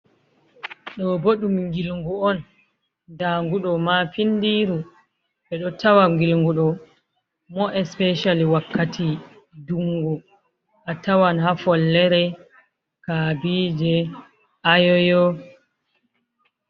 Ɗo bo ɗum ngilngu on ɗaangu ɗo ma findiru ɓe ɗo tawa ngilngu ɗo mo especial wakkati dungu a tawan ha follere, kabije, ayoyo,.